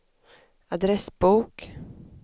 adressbok